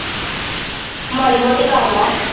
ਮਾੜੀ ਮੋਟੀ ਕਰਲਾ